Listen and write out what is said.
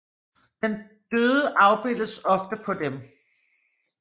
Den døde afbildes ofte på dem